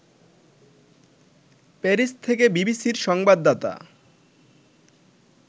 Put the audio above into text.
Paris থেকে বিবিসির সংবাদদাতা